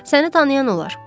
Səni tanıyan olar.